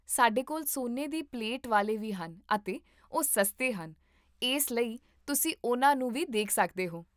ਸਾਡੇ ਕੋਲ ਸੋਨੇ ਦੀ ਪਲੇਟ ਵਾਲੇ ਵੀ ਹਨ ਅਤੇ ਉਹ ਸਸਤੇ ਹਨ, ਇਸ ਲਈ ਤੁਸੀਂ ਉਹਨਾਂ ਨੂੰ ਵੀ ਦੇਖ ਸਕਦੇ ਹੋ